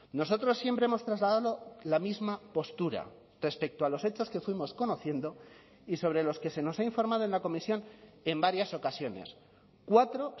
nosotros siempre hemos trasladado la misma postura respecto a los hechos que fuimos conociendo y sobre los que se nos ha informado en la comisión en varias ocasiones cuatro